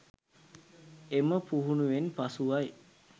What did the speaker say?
එම පුහුණුවෙන් පසුවයි